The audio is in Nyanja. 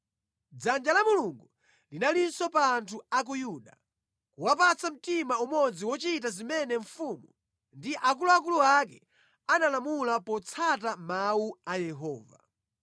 Dzanja la Mulungu linalinso pa anthu a ku Yuda, kuwapatsa mtima umodzi wochita zimene mfumu ndi akuluakulu ake analamula potsata mawu a Yehova.